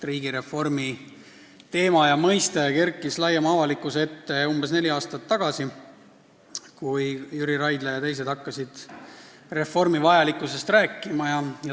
Riigireformi teema ja mõiste kerkis laiema avalikkuse ette umbes neli aastat tagasi, kui Jüri Raidla ja teised hakkasid reformi vajalikkusest rääkima.